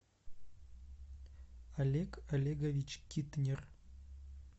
олег олегович китнер